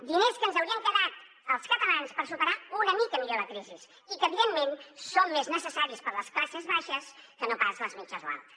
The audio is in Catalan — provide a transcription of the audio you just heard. diners que ens haurien quedat als catalans per superar una mica millor la crisi i que evidentment són més necessaris per a les classes baixes que no pas per a les mitjanes o altes